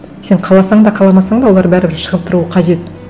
сен қаласаң да қаламасаң да олар бәрібір шығып тұруы қажет